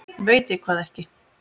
Veit ég hvað ekki?